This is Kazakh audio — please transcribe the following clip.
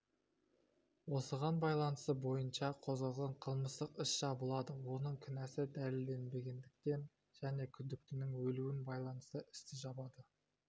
осыған байланысты бойынша қозғалған қылмыстық іс жабылады оның кінәсі дәлелденбегендіктен және күдіктінің өлуіне байланысты істі жабады